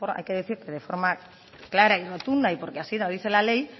hay que decir que de forma clara y rotunda y porque así lo dice la ley